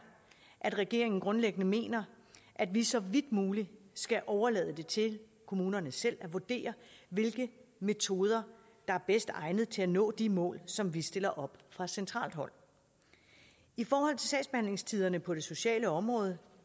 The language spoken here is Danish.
at regeringen grundlæggende mener at vi så vidt muligt skal overlade det til kommunerne selv at vurdere hvilke metoder der er bedst egnet til at nå de mål som vi stiller op fra centralt hold i forhold til sagsbehandlingstiderne på det sociale område